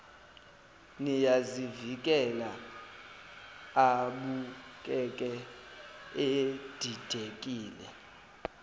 niyazivikela abukeke edidekile